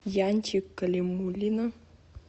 янчик калимуллина